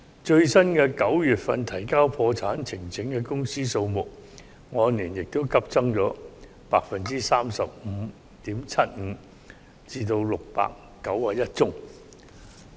最新9月份提交破產呈請的公司數目，亦按年急增了 35.75% 至691宗。